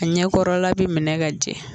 A ɲɛ kɔrɔla bɛ minɛ ka jɛ